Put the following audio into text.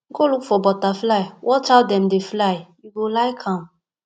go look for butterfly watch how dem dey fly you go like am